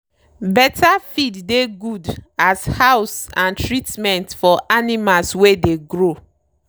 better feed dey good as house and treatment for animals wey dey grow.